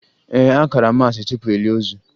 Ee, a kara maasị tupu e lie ozu